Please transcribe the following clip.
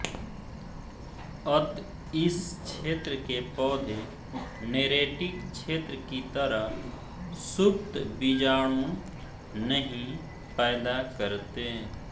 अत इस क्षेत्र के पौधे नेरेटिक क्षेत्र की तरह सुप्त बीजाणु नहीं पैदा करते